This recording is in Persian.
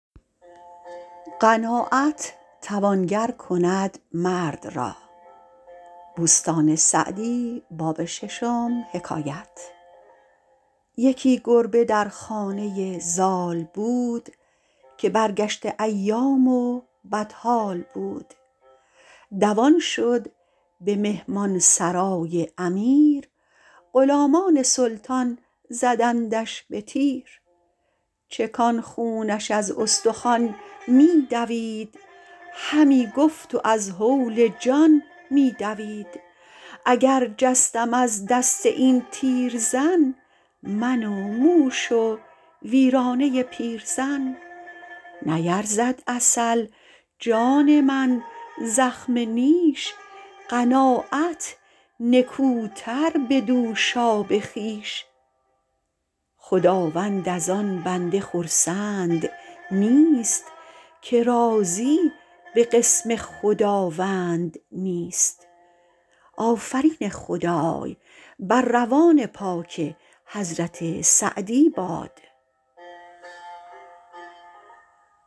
یکی گربه در خانه زال بود که برگشته ایام و بدحال بود دوان شد به مهمان سرای امیر غلامان سلطان زدندش به تیر چکان خونش از استخوان می دوید همی گفت و از هول جان می دوید اگر جستم از دست این تیرزن من و موش و ویرانه پیرزن نیرزد عسل جان من زخم نیش قناعت نکوتر به دوشاب خویش خداوند از آن بنده خرسند نیست که راضی به قسم خداوند نیست